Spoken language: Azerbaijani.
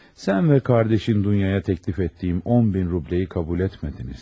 Sən ve qardaşın Dunyaya təklif etdiyim 10 min rubləyi qəbul etmədiniz.